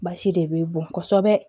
Basi de bɛ bɔn kosɛbɛ